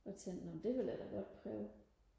og tænkte nå det vil jeg da godt prøve